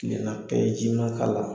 Tilena pɛ ji ma k'a la.